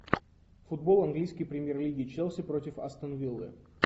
футбол английской премьер лиги челси против астон виллы